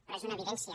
però és una evidència